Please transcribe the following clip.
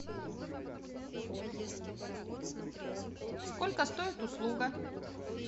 сколько стоит услуга